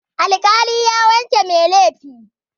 Alƙali ya wanke mai laifi.